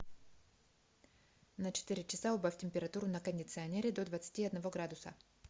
на четыре часа убавь температуру на кондиционере до двадцати одного градуса